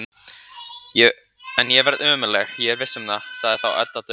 En ég verð ömurleg, ég er viss um það, sagði þá Edda döpur.